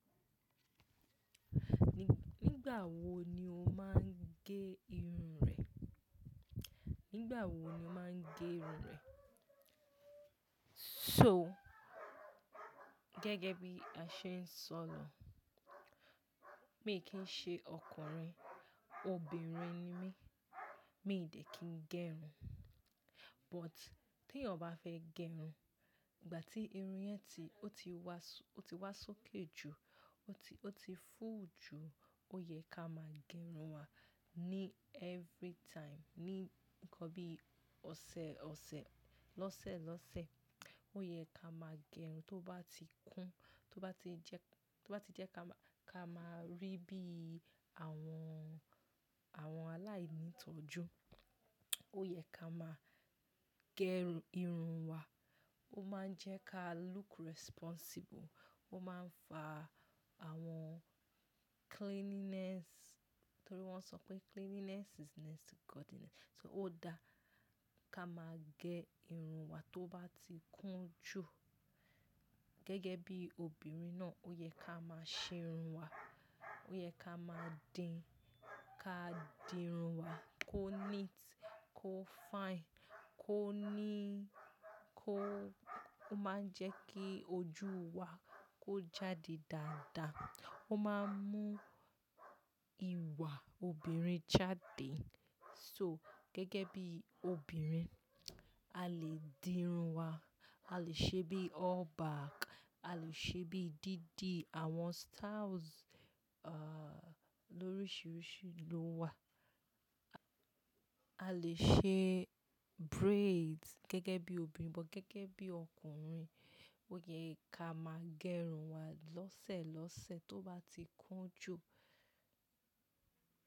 Nígbà wo ni o máa ń gé irun rẹ? Nígbà wo ni o máa ń gé irun rẹ? So gẹ́gẹ́ bí a ṣe ń sọ lọ, mi kì í ṣe ọkùnrin, obìnrin ni mí, mi ò delẹ̀ kí n gé irun. But tí èèyàn fẹ́ gé irun, ìgbà tí irun yẹn ti, ó ti wá, ó ti wá sókè jù, ó ti, ó ti fú jù, ó yẹ ká máa gẹ irun wa ní every time, ní nǹkan bí ọ̀sẹ̀ ọ̀sẹ̀, lọ́sẹ̀ lọ́sẹ̀. Ó yẹ ká máa gé irun tó bá ti kún, tó bá ti jẹ́, tó bá ti jẹ́ ká máa rí bí àwọn, àwọn aláìní ìtọ́jú. Ó yẹ ká máa gẹ irun wa. Ó máa ń jẹ́ ká look responsible. Ó máa ń fa àwọn cleanliness, torí wọ́n sọ pé cleanliness is next to godliness. So ó da ká máa gé irun wa tó bá ti kún jù. Gẹ́gẹ́ bí obìnrin náà, ó yẹ ká máa ṣe irun wa. Ó yẹ ká máa di, ká di irun wa kó neat, kó fine, kó ní, kó, ó máa ń jẹ́ kí ojú wa kó jáde dáadáa. Ó máa ń mú ìwà obìnrin jáde. So gẹ́gẹ́ bí obìnrin, a lè di irun wa, a lè ṣe bí all back, a lè ṣe bí díídí, àwọn styles, ah, lóríṣiríṣi ló wà. A lè ṣe braids gẹ́gẹ́ bí obìnrin, but gẹ́gẹ́ bí ọkùnrin, ó yẹ ká máa gé irun wa lọ́sẹ̀ lọ́sẹ̀ tó bá ti kún jù.